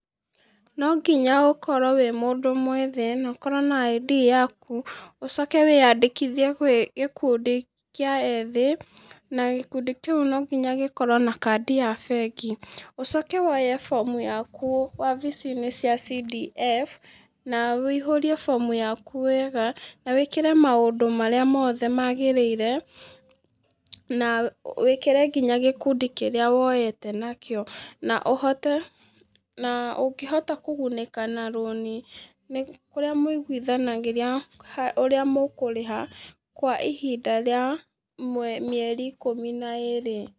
Nonginya ũkorwo wĩ mũndũ mwĩthĩ, na ũkorwo na ID yaaku. Ũcoke wĩyandĩkithie kwĩ gĩkundi kĩa ethĩ. Na gíkundi kĩu nonginya gĩkorwo na kadi ya bengi. Ũcoke woye bomu yaku wabici-inĩ cia C-D-F, na wũihũrie bomu yaku wega, na wĩkĩre maũndũ marĩa mothe maagĩrĩire, na wĩkĩre nginya gĩkundi kĩrĩa woete nakĩo. Na ũkĩhota kũgunĩka na rũni, nĩ kũrĩa mũiguithanagĩria ũrĩa mũkũrĩha, kwa ihinda rĩa mĩeri ikũmi na ĩĩrĩ.